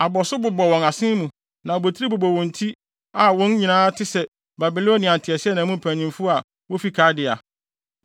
a abɔso bobɔ wɔn asen mu na abotiri bobɔ wɔn ti a wɔn nyinaa te sɛ Babilonia nteaseɛnam mu mpanyimfo a wofi Kaldea.